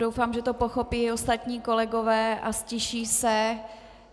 Doufám, že to pochopí i ostatní kolegové a ztiší se.